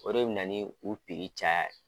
O de bɛ ni u piri caya ye